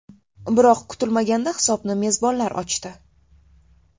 Biroq kutilmaganda hisobni mezbonlar ochdi.